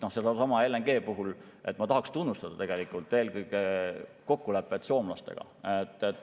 Sellesama LNG puhul ma tahan tunnustada eelkõige kokkulepet soomlastega.